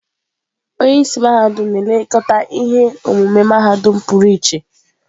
Onye isi mahadum na-elekọta ihe omume mahadum pụrụ iche.